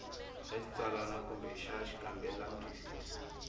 xa xitsalwana kumbe xa xikambelantwisiso